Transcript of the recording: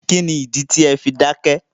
Kíni ìdí tí o fi dákẹ̀?